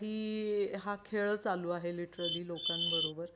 हा खेळ चालू आहे लिटररी लोकांबरोबर